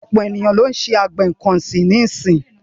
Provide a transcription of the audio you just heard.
Ọ̀pọ̀ àwọn ènìyàn lọ́ ń ṣe àgbẹ̀ nǹkan ọ̀sìn nísì.